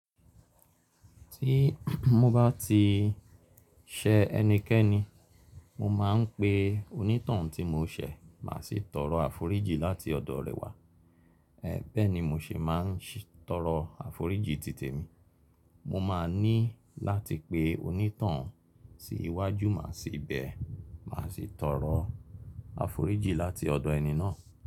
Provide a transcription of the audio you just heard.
Tí mo bá ti ṣẹ ẹnikẹ́ni, mo máa ń pe onítoun tí mo ṣẹ̀ má sì tọrọ àforíjì láti ọ̀dọ̀ rẹ wá. Ẹ̀ bẹ́ẹ̀ ni mo ṣe má ń ṣì tọrọ àforíjì títè mi. Mo ma ní láti pe onítoun sí iwájú má sì bẹ má sì tọrọ àforíjì láti ọ̀dọ̀ ẹni náà.